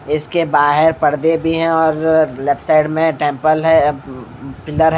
इसके बाहर पर्दे भी है और लेफ्ट साइड में टेंपल है म् पिलर --